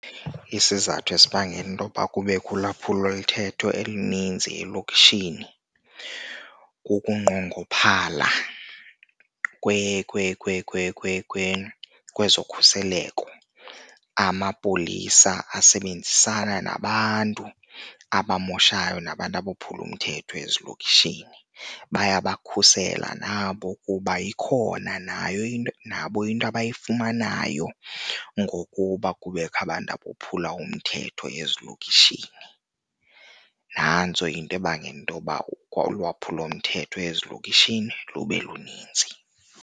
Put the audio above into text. Isizathu esibangela intoba kubekho ulwaphulomthetho elininzi elokishin, kukunqongophala kwezokhuseleko. Amapolisa asebenzisana nabantu abamoshayo nabantu abophula umthetho ezilokishini, bayabakhusela nabo kuba ikhona nayo into nabo into abayifumanayo ngokuba kubekho abantu abophula umthetho ezilokishini. Nantso into ebangela intoba ulwaphulomthetho ezilokishini lube luninzi.